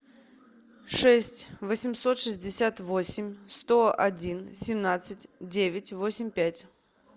шесть восемьсот шестьдесят восемь сто один семнадцать девять восемь пять